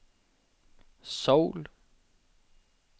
Seoul